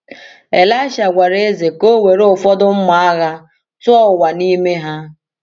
Elisha gwara eze ka o were ụfọdụ mma agha tụọ ụwa n’ime ha.